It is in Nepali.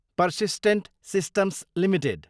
persistent Systems Ltd